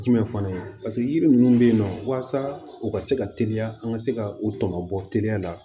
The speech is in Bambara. Jumɛn fana ye paseke yiri ninnu bɛ yen nɔ walasa u ka se ka teliya an ka se ka u tɔbɔ teliya la